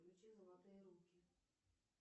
включи золотые руки